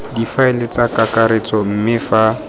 difaele tsa kakaretso mme fa